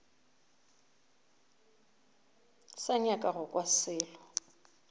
sa nyaka go kwa selo